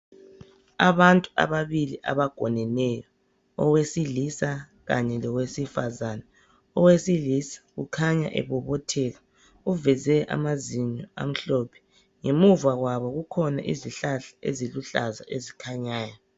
Abantu ababili abagoneneyo, owesilisa kanye lowesifazane. Owesilisa ukhanya ebobotheka, uveze amazinyo amhlophe. Ngemuva kwabo kukhona izihlahla eziluhlaza ezikhanyayo.